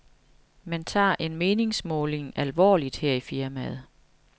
Man tager en meningsmåling alvorligt her i firmaet.